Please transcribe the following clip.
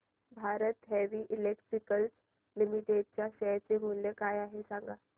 Bharat heavy electricals limited च्या share चे मूल्य काय आहे सांगा